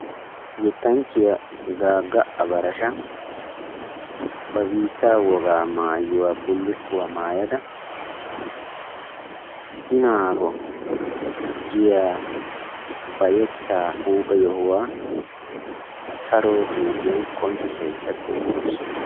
Yettanchchiya Gaaga Abarashsha ba biitta wogaabulukkuwa maayyada, I naago giya ba yetta huuphphe yohuwaa saro xuufiyan qonccissaydda beettawus.